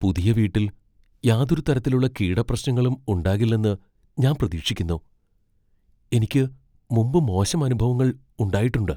പുതിയ വീട്ടിൽ യാതൊരു തരത്തിലുള്ള കീടപ്രശ്നങ്ങളും ഉണ്ടാകില്ലെന്ന് ഞാൻ പ്രതീക്ഷിക്കുന്നു, എനിക്ക് മുമ്പ് മോശം അനുഭവങ്ങൾ ഉണ്ടായിട്ടുണ്ട്.